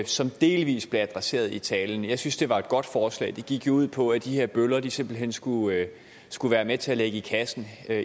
som delvis blev adresseret i talen jeg synes det var et godt forslag det gik jo ud på at de her bøller simpelt hen skulle skulle være med til at lægge i kassen